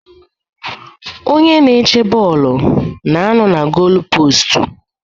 Onye na-eche bọọlụ na-anọ na golupostu.